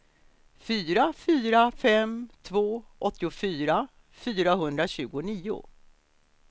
fyra fyra fem två åttiofyra fyrahundratjugonio